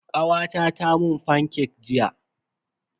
Kawata ta mun fancake jiya.